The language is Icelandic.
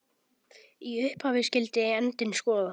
Í upphafi skyldi endinn skoða.